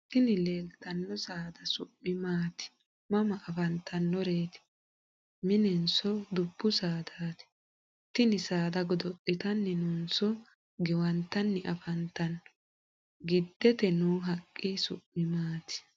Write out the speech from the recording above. Tini leeltanno saada su'mi maati? Mama afantannoreeti? Mininso dubbu saadaati? Tini saada godo'litanninso giwantanni afantanno? Giddite noo haqqi su'mi maati?